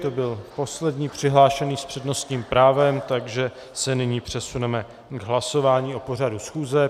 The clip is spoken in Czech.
To byl poslední přihlášený s přednostním právem, takže se nyní přesuneme k hlasování o pořadu schůze.